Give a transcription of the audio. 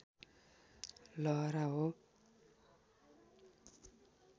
लहरा हो